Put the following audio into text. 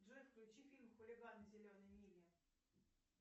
джой включи фильм хулиганы зеленой мили